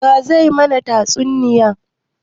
Wa zai yi mana tatsuniya?